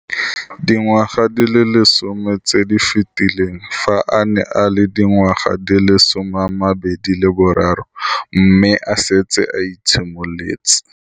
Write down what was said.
Dingwaga di le 10 tse di fetileng, fa a ne a le dingwaga di le 23 mme a setse a itshimoletse